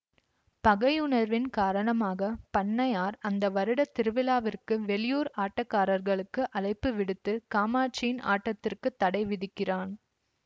பகையுணர்வின் காரணமாக பண்ணையார் அந்த வருட திருவிழாவிற்கு வெளியூர் ஆட்டக்காரர்களுக்கு அழைப்பு விடுத்து காமாட்சியின் ஆட்டத்திற்கு தடை விதிக்கிறான்